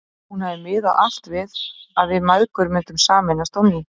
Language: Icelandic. Hún hafði miðað allt við að við mæðgur myndum sameinast á ný.